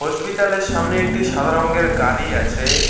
হসপিতালের সামনে একটি সাদা রঙ্গের গাড়ি আছে।